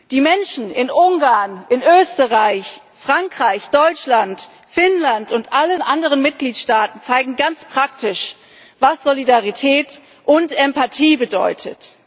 ist! Die Menschen in Ungarn, Österreich, Frankreich, Deutschland, Finnland und allen anderen Mitgliedstaaten zeigen ganz praktisch, was Solidarität und Empathie bedeutet.